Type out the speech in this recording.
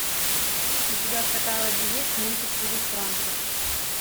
у тебя в каталоге есть мультик чужестранка